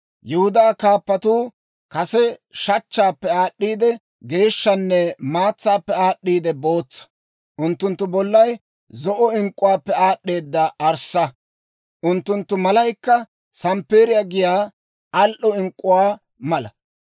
Yihudaa kaappatuu kase shachchaappe aad'd'eeda geeshshanne maatsaappe aad'd'eeda bootsa. Unttunttu bollay zo'o ink'k'uwaappe aad'd'eeda arssa; unttunttu malaykka samppeeriyaa giyaa al"o ink'k'uwaa mala.